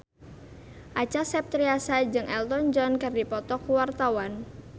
Acha Septriasa jeung Elton John keur dipoto ku wartawan